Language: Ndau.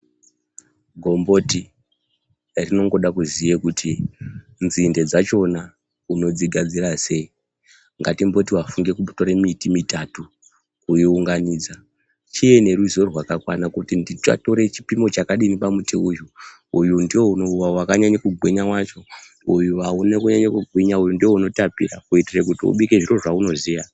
Gomboti rinongoda kuziye kuti nzinde dzachona unodzigadzira sei. Ngatimboti wafunge kutore miti mitatu woiunganidza. Chiye neruzivo rwakakwana kuti ndichatora chipimo chakadini pamuti uyu, uyu ndiwo wakanyanya kugwinya wacho, uyu haune kunyanya kugwinya, uyu ndiwo unotapira kuitire kuti ubike zviro zvaunoziya.